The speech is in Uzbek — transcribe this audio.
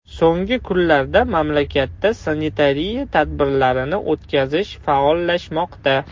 So‘nggi kunlarda mamlakatda sanitariya tadbirlarini o‘tkazish faollashmoqda.